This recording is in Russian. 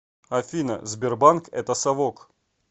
афина сбербанк это совок